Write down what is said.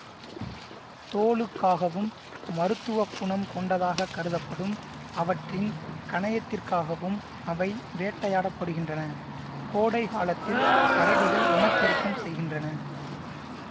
தோலுக்காகவும் மருத்துவ குணம் கொண்டதாக கருதப்படும் அவற்றின் கணையத்திற்காகவும் அவை வேட்டையாடப்படுகின்றனகோடை காலத்தில் கரடிகள் இனப்பெருக்கம் செய்கின்றன